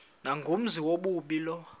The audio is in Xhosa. nangumenzi wobubi lowo